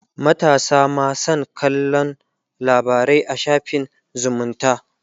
matasa ma San kallan labarai a shafin zumunta